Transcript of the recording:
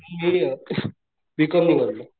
कि बीकॉम करतो.